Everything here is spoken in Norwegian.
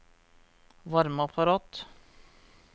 varmeapparat